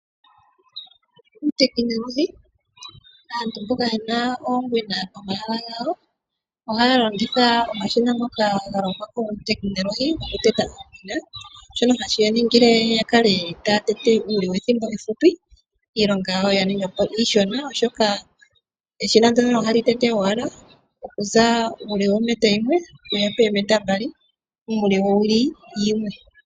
Aantu mboka yena oongwena pomahala gawo, ohaa longitha omashina ngoka ga longwako, guutekinolohi gokuteta iimeno, shono hashi yaningile yakale taya tete iimeno methimbo efupi, iilonga yawo ya ninga iishona, oshoka eshina ndjoka ohali tete owala okuza uule wometa yimwe, sigo oometa mbali, uule wowili yimwe.